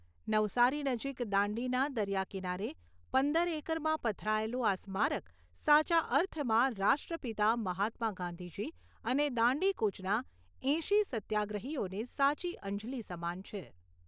નવસારી નજીક દાંડીના દરિયાકિનારે પંદર એકરમાં પથરાયેલું આ સ્મારક સાચા અર્થમાં રાષ્ટ્રપિતા મહાત્મા ગાંધીજી અને દાંડી કૂચના એંશી સત્યાગ્રહીઓને સાચી અંજલિ સમાન છે.